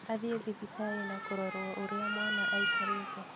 Athiĩ thibitarĩ na kũrorwo ũrĩa mwana aikarĩte